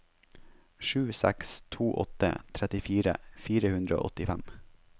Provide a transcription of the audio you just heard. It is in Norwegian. sju seks to åtte trettifire fire hundre og åttifem